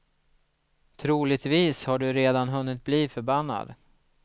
Troligtvis har du redan hunnit bli förbannad.